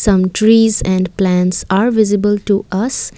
some trees and plants are visible to us.